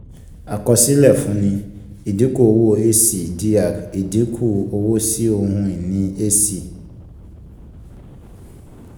àkọsílẹ̀ fún ní: ìdínkù owó a/c dr ìdínkù owó sí ohùn ìní a/c (víi)